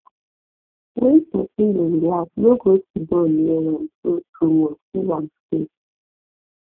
when pesin dey relax no go siddon near am too too much give am space